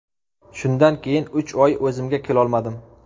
Shundan keyin uch oy o‘zimga kelolmadim.